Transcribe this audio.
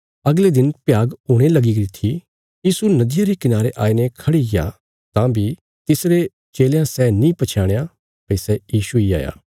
अगले दिन भ्याग हुणे लगी गरी थी यीशु नदिया रे कनारे आईने खड़ीग्या तां बी तिसरे चेलयां सै नीं पछयाणया भई सै यीशु इ हाया